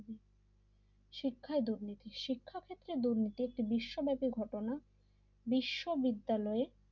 শিক্ষায় দুর্নীতি শিক্ষা ক্ষেত্রে দুর্নীতি একটি বিশ্বব্যাপী ঘটনা বিশ্ববিদ্যালয়